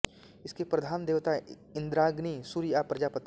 इसके प्रधान देवता इंद्राग्नी सूर्य या प्रजापति हैं